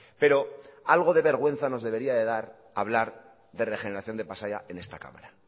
pero algo de vergüenza nos debería de dar hablar de regeneración de pasaia en esta cámara